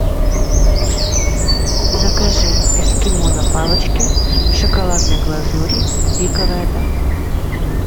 закажи эскимо на палочке в шоколадной глазури пиковая дама